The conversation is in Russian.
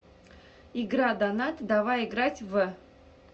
игра донат давай играть в